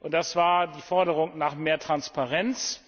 Das war die Forderung nach mehr Transparenz.